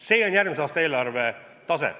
See on järgmise aasta eelarve tase.